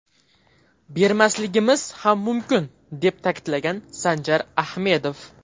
Bermasligimiz ham mumkin”, deb ta’kidlagan Sanjar Ahmedov.